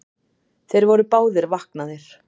Þeir voru báðir vaknaðir.